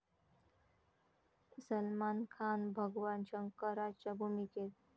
सलमान खान भगवान शंकराच्या भूमिकेत?